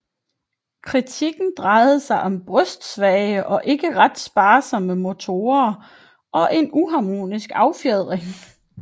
Kritikken drejede sig om brystsvage og ikke ret sparsomme motorer og en uharmonisk affjedring